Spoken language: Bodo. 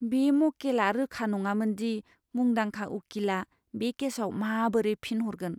बे मक्केलआ रोखा नङामोन दि मुंदांखा उखिलआ बे केसाव माबोरै फिन हरगोन।